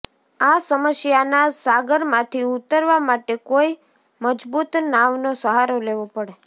આ સમસ્યાના સાગરમાંથી ઉતરવા માટે કોઈ મજબૂત નાવનો સહારો લેવો પડે